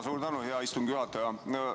Suur tänu, hea istungi juhataja!